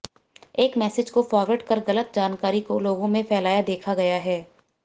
एक मैसेज को फॉरवर्ड कर गलत जानकारी को लोगों में फैलाया देखा गया है